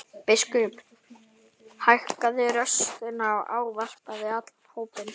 Biskup hækkaði raustina og ávarpaði allan hópinn.